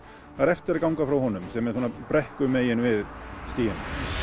er eftir að ganga frá honum sem er svona við stíginn